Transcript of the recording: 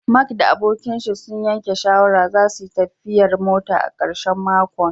Mark da abokinshi sun yanke shawarar zasuyi tafiyar mota a karshen makon